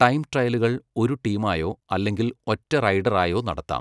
Time ട്രയലുകൾ ഒരു ടീമായോ അല്ലെങ്കിൽ ഒറ്റ റൈഡറായോ നടത്താം.